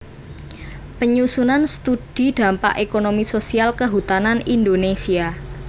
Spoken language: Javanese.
Penyusunan Study Dampak Ekonomi Sosial Kehutanan Indonésia